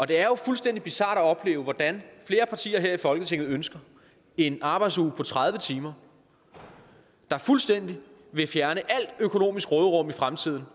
det er jo fuldstændig bizart at opleve hvordan flere partier her i folketinget ønsker en arbejdsuge på tredive timer der fuldstændig vil fjerne alt økonomisk råderum i fremtiden